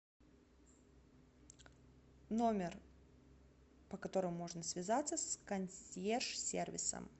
номер по которому можно связаться с консьерж сервисом